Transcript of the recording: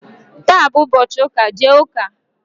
taa bụ ụbọchị ụka, jee ụka!